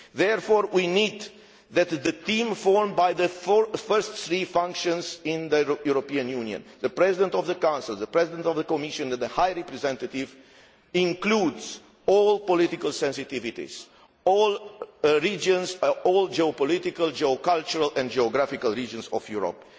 Therefore, we need the team formed by the first three functions in the European Union the President of the Council, the President of the Commission and the High Representative to include all political sensitivities, all regions, and all geopolitical, cultural and geographical regions of Europe.